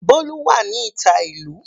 Bolu wà ní ìta ìlú.